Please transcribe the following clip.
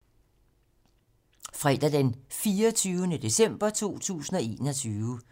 Fredag d. 24. december 2021